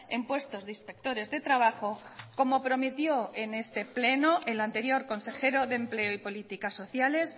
en puestos de inspectores de trabajo como prometió en este pleno el anterior consejero de empleo y políticas sociales